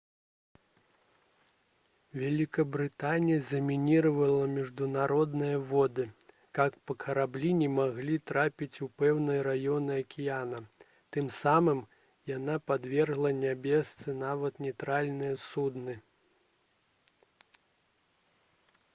вялікабрытанія замініравала міжнародныя воды каб караблі не маглі трапіць у пэўныя раёны акіяна тым самым яна падвяргла небяспецы нават нейтральныя судны